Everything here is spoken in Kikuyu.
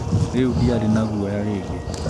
Rĩu ndiarĩ na guoya rĩngĩ.